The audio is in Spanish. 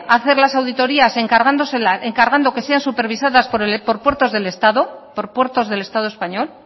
hacer las auditorias encargando que sean supervisadas por puertos del estado por puertos del estado español